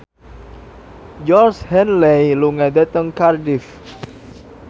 Georgie Henley lunga dhateng Cardiff